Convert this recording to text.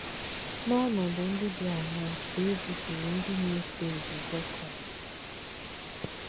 N’ònọ̀dū ndí dí àṅaa kà è zìpùrù ndí nà-èsò nzùzọ̀ Kráīst?